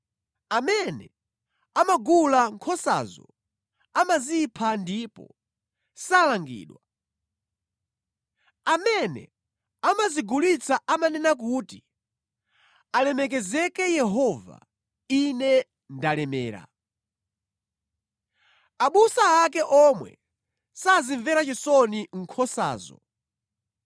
Amene amagula nkhosazo amazipha ndipo salangidwa. Amene amazigulitsa amanena kuti, ‘Alemekezeke Yehova, ine ndalemera!’ Abusa ake omwe sazimvera chisoni nkhosazo.